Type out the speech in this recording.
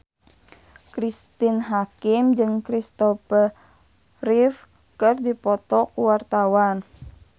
Cristine Hakim jeung Kristopher Reeve keur dipoto ku wartawan